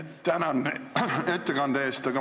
Tänan ettekande eest!